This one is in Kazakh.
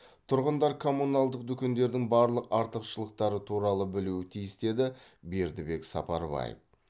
тұрғындар коммуналдық дүкендердің барлық артықшылықтары туралы білуі тиіс деді бердібек сапарбаев